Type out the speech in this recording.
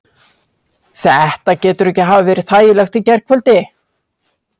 Þetta getur ekki hafa verið þægilegt í gærkvöldi?